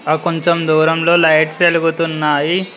ఆ కొంచెం దూరంలో లైట్ వెలుగుతున్నాయి.